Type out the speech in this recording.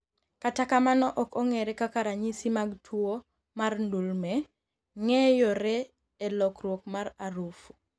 kata kamano ok ong’ere kaka ranyisi mag tuwo mar ndulme ng'eyore e lokruok mar aruf